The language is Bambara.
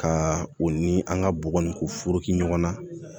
Ka o ni an ka bɔgɔ ni ko foroki ɲɔgɔn na